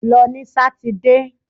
Lọ ní sátidé!